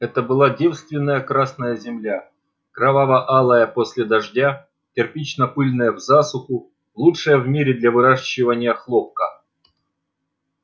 это была девственная красная земля кроваво-алая после дождя кирпично-пыльная в засуху лучшая в мире для выращивания хлопка